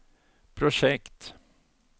projekt